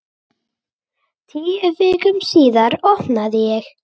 Tíu vikum síðar opnaði ég.